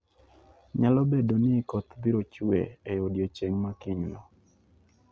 Nyalo bedo ni koth biro chue e odiechieng' ma kinyno.